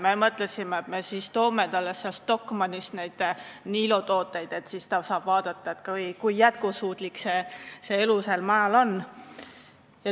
Me mõtlesime, et me toome talle sealt Stockmannist neid Niilo tooteid – siis ta saab vaadata, kui jätkusuutlik see elu sääl maal on.